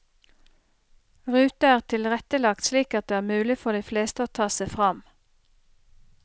Ruta er tilrettelagt slik at det er mulig for de fleste å ta seg fram.